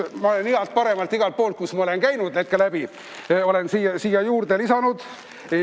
Ma olen head-paremat igalt poolt, kust ma olen läbi käinud, siia korvi juurde lisanud.